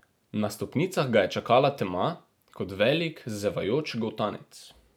Na stopnicah ga je čakala tema kot velik, zevajoč goltanec.